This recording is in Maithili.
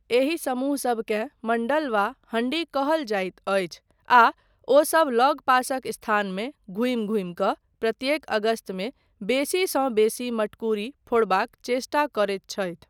एहि समूह सबकेँ मण्डल वा हण्डी कहल जाइत अछि आ ओसब लगपासक स्थानमे घूमि घूमि कऽ प्रत्येक अगस्तमे बेसीसँ बेसी मटकुरी फोड़बाक चेष्टा करैत छथि।